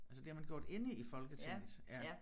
Altså det har man gjort inde i Folketinget ja